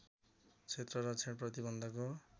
क्षेत्र रक्षण प्रतिबन्धको